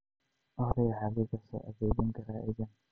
olly xagee ka soo adeegan karaa aaggan